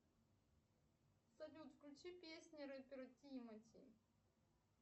салют включи песни рэпера тимати